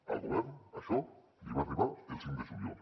al govern això li va arribar el cinc de juliol